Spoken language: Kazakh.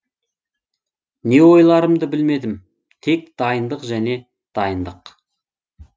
не ойларымды білмедім тек дайындық және дайындық